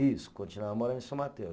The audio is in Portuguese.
Isso, continuava morando em São Mateus.